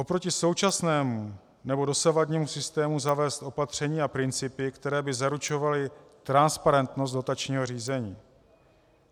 Oproti současnému nebo dosavadnímu systému zavést opatření a principy, které by zaručovaly transparentnost dotačního řízení.